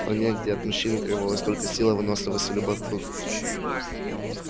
в стране где от мужчины требовалась только сила выносливость и любовь к труду